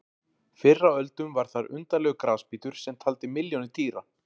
Fyrr á öldum var þar undarlegur grasbítur sem taldi milljónir dýra.